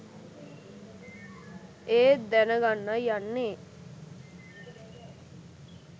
ඒත් දැන ගන්නයි යන්නේ”